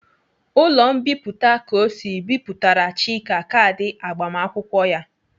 Ụlọ mbipụta Kosi Bipụtara Chika kaadị agbamakwụkwọ ya.